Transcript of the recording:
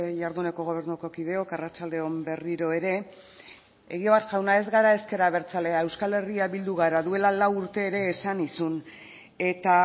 jarduneko gobernuko kideok arratsalde on berriro ere egibar jauna ez gara ezker abertzalea euskal herria bildu gara duela lau urte ere esan nizun eta